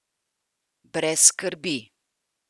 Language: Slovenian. Brez skrbi!